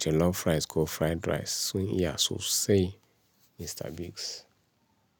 jollof rice ko fried rice sun iya sosai Mr. Biggs.